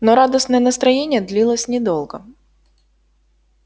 но радостное настроение длилось недолго